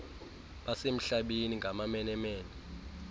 basemhlabeni ngamamene mene